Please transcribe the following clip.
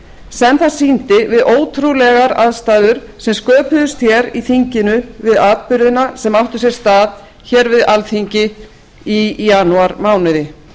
sem það sýndi við ótrúlegar aðstæður sem sköpuðust hér í þinginu við atburðina sem áttu sér stað hér við alþingi í janúarmánuði